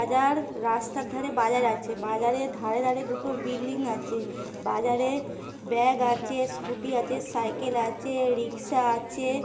বাজার রাস্তার ধারে বাজার আছে। বাজারের ধারে ধারে দুটো বিল্ডিং আছে। বাজারে ব্যাগ আছে স্কুটি আছে সাইকেল আছে রিকশা আছে।